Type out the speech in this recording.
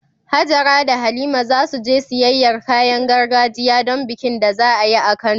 Hajara da Halima za su je siyayyar kayan gargajiya don bikin da za a yi a Kano.